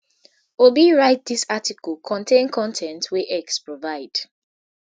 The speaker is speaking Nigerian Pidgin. obi write dis article contain con ten t wey x provide